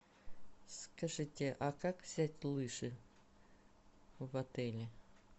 скажите а как взять лыжи в отеле